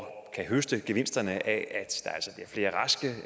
høste gevinsterne af